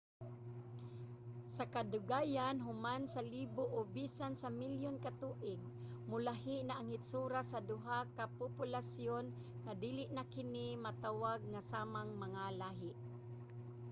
sa kadugayan human sa libo o bisan sa milyon ka tuig molahi na ang hitsura sa duha ka populasyon nga dili na kini matawag nga samang mga lahi